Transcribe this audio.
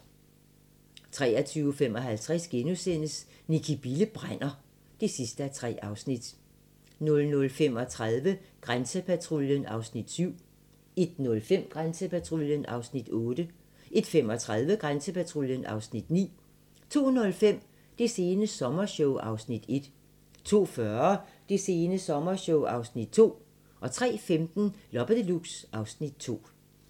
23:55: Nicki Bille brænder (3:3)* 00:35: Grænsepatruljen (Afs. 7) 01:05: Grænsepatruljen (Afs. 8) 01:35: Grænsepatruljen (Afs. 9) 02:05: Det sene sommershow (Afs. 1) 02:40: Det sene sommershow (Afs. 2) 03:15: Loppe Deluxe (Afs. 2)